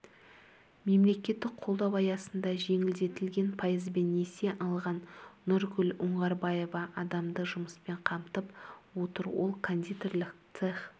мемлекеттік қолдау аясында жеңілдетілген пайызбен несие алған нұргүл оңғарбаева адамды жұмыспен қамтып отыр ол кондитерлік цех